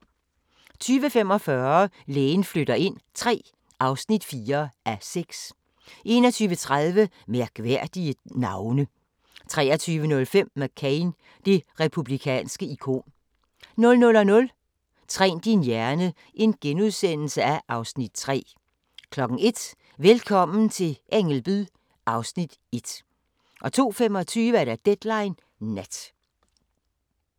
20:45: Lægen flytter ind III (4:6) 21:30: Mærkelige navne 23:05: McCain – det republikanske ikon 00:00: Træn din hjerne (Afs. 3)* 01:00: Velkommen til Ängelby (Afs. 1) 02:25: Deadline Nat